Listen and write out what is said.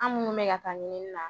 An minnu bɛ ka taa ɲininina